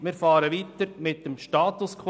Wir fahren weiter mit dem Status quo.